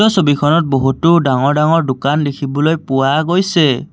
ছবিখনত বহুতো ডাঙৰ ডাঙৰ দোকান দেখিবলৈ পোৱা গৈছে।